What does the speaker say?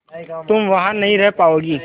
तुम वहां नहीं रह पाओगी